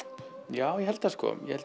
já ég held það sko ég held